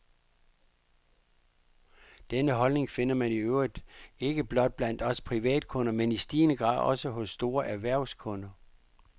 Denne holdning finder man i øvrigt ikke blot blandt os privatkunder, men i stigende grad også hos store erhvervskunder.